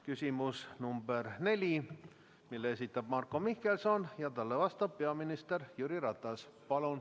Küsimus nr 4, mille esitab Marko Mihkelson ja talle vastab peaminister Jüri Ratas.